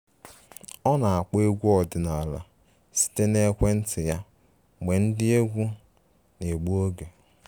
Ọ na-akpọ egwu ọdịnala site na ekwentị ya mgbe ndi egwu na-egbu oge